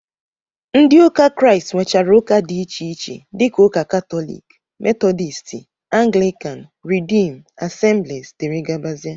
Ndị ụka Kraịst nwechara ụka dị iche iche dịka ụka katọlik, metọdisti, anglikan, ridiim, asemblis, dg